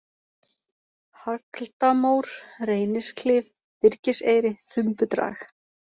Hagldamór, Reynisklif, Byrgiseyri, Þumbudrag